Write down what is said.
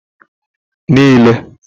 niile